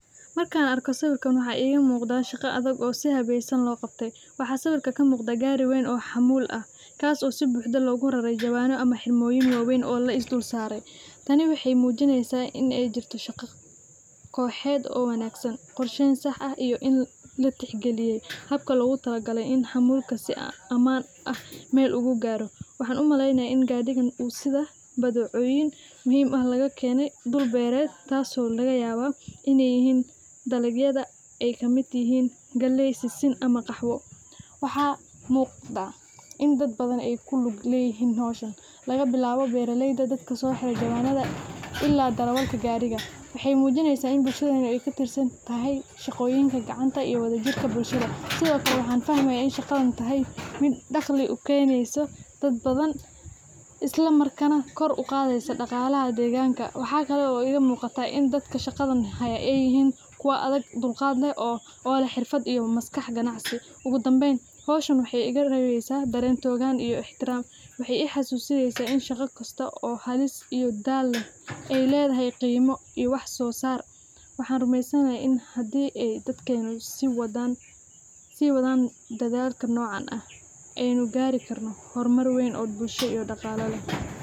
Markaan arkoo sawirkaan arkoo waxaa igaa muqdaa shaaqa adaag oo sii hadeesan loo qabtee waxaa sawirkaa kaa muqdaa gaari weyn oo xamul aah kaaso sii buxdaa loguu raaray jawaano ama xirmooyin waweyn oo lais duul saare. taani waxey muujineysa ineey jiirto shaaqa koxeed oo wanagsaan qorsheyn saax aah iyo iin laa tix gaaliyay habkaa loguu talaa galaay iin xamulkaas sii amaan aah meel ogu gaaro. waxaan uu maley naaya iin gadhigaan uu siida badecooyin muhiim aah lagaa kenee dhuul bereed kaaso lagaa yaawa ineey yiihin dalabyaada eey kamiid yihiin galey, sisiin ama qaxwoo. waxaa muqdaa iin daad badaan eyku lg leyihiin howshaan lagaa bilaawo beraleydaa daadka soo xiiro jawanaada ila darawalkaa gaariga. waxey mjiineysa iin bulshaadan eykuu tirsaan tahaay shaqoyiinka gacaanta iyo wadajiirka bulshaada siido kaale waxan fahmaaya iin shaqaadan tahay miid daaqlii uu keneysoo daad baadan islaa markanaa kor uu qadeeysa dhaqalaaha degaanka. waxaa kaalo igaa muqataa dadkaa shaqaadan haayo eey yihiin kuuwa adaag dulqaad leeh oo leeh xirfaad iyo maskaax ganaacsi ogu dambeyn howshaan waxey iguu reweysaa daaren todaan iyo ixtiiram waxey ii xasusineysaa iin shaqaa kastoo oo haliis iyo daal eey ledahay qiimo iyo wax soo sar. waan rumeysaan yahaay hadii eey daadkena sii wadaan sii wadaan dadaalka nocaan aah eynuu gaari gaaro hormaar weyn oo bulshaa iyo dhaqaala leeh.